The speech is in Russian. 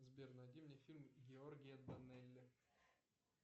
сбер найди мне фильм георгия данели